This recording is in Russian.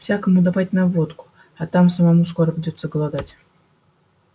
всякому давать на водку а там самому скоро придётся голодать